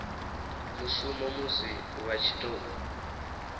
mushumo musi vha tshi tou